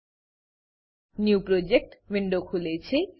new project new project window ખુલે છે